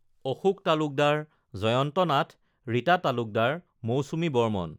Ashok Talukdar, Jayanta Nath, Rita Talukdar, Mousumi Barman